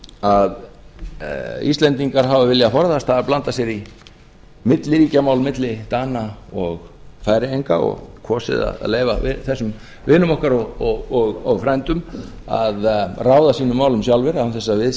að íslendingar hafa viljað forðast það að blanda sér í milliríkjamál milli dana og færeyinga og kosið að leyfa þessum vinum okkar og frændum að ráða sínum málum sjálfir án þess að við